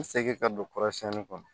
N segin ka don kɔrɔsiyɛnni kɔnɔ